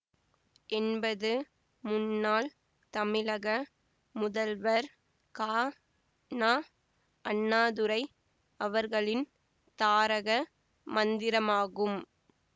என்பது முன்னாள் தமிழக முதல்வர் கா ந அண்ணாதுரை அவர்களின் தாரக மந்திரமாகும்